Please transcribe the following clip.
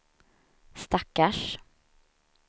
stackars